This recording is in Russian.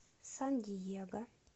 сан диего